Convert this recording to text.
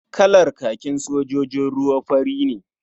Kalar kakin sojojin ruwa fari ne.